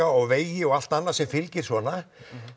og vegi og allt annað sem fylgir svona